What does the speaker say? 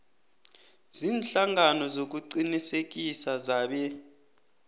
ziinhlangano zokuqinisekisa zebee